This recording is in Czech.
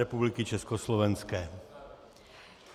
Republiky československé.